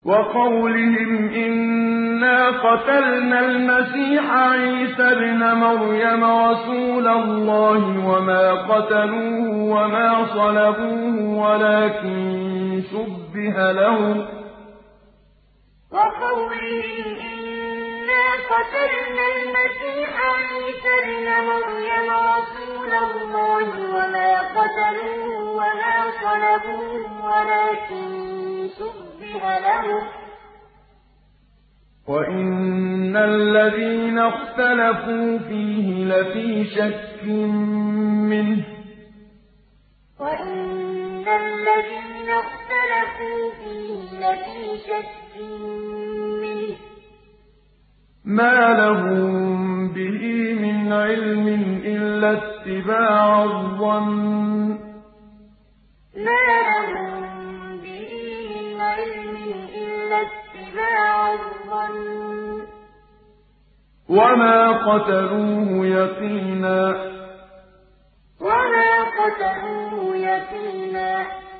وَقَوْلِهِمْ إِنَّا قَتَلْنَا الْمَسِيحَ عِيسَى ابْنَ مَرْيَمَ رَسُولَ اللَّهِ وَمَا قَتَلُوهُ وَمَا صَلَبُوهُ وَلَٰكِن شُبِّهَ لَهُمْ ۚ وَإِنَّ الَّذِينَ اخْتَلَفُوا فِيهِ لَفِي شَكٍّ مِّنْهُ ۚ مَا لَهُم بِهِ مِنْ عِلْمٍ إِلَّا اتِّبَاعَ الظَّنِّ ۚ وَمَا قَتَلُوهُ يَقِينًا وَقَوْلِهِمْ إِنَّا قَتَلْنَا الْمَسِيحَ عِيسَى ابْنَ مَرْيَمَ رَسُولَ اللَّهِ وَمَا قَتَلُوهُ وَمَا صَلَبُوهُ وَلَٰكِن شُبِّهَ لَهُمْ ۚ وَإِنَّ الَّذِينَ اخْتَلَفُوا فِيهِ لَفِي شَكٍّ مِّنْهُ ۚ مَا لَهُم بِهِ مِنْ عِلْمٍ إِلَّا اتِّبَاعَ الظَّنِّ ۚ وَمَا قَتَلُوهُ يَقِينًا